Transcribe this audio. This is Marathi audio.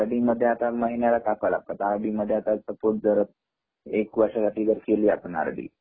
आर. डी. मध्ये आता महिन्याला टाकावे लागतात सपोज आता आर. डी.मध्ये जर एक वर्षासाठी केली आपण आर. डी.